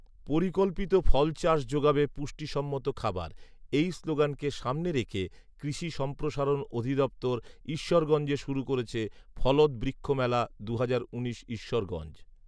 "পরিকল্পিত ফল চাষ যোগাবে পুষ্টি সম্মত খাবার" এই স্লোগানকে সামনে রেখে কৃষি সম্প্রসারণ অধিদপ্তর ঈশ্বরগঞ্জে শুরু করেছে ‘ফলদ বৃক্ষ মেলা দুহাজার উনিশ ঈশ্বরগঞ্জ’